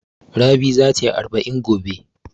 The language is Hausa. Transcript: Rabi za ta yi arba'in gobe.